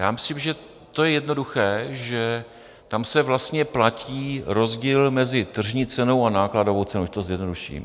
Já myslím, že je to jednoduché, že tam se vlastně platí rozdíl mezi tržní cenou a nákladovou cenou, když to zjednoduším.